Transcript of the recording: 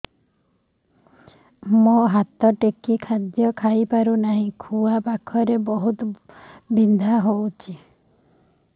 ମୁ ହାତ ଟେକି ଖାଦ୍ୟ ଖାଇପାରୁନାହିଁ ଖୁଆ ପାଖରେ ବହୁତ ବଥା ହଉଚି